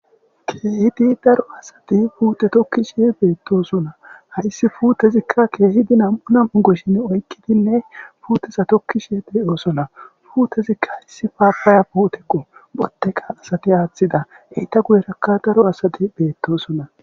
Kehti daro asati puute tokkishshe beettossona hayssi puutezikka keehidi nam'u nam'u goshshin oykkidinne puuteza tokkishshe de'oossona puutezikka hayssi paapaya puutekqo botteka asate aaththida heyta guyerakka daro asadi beettosona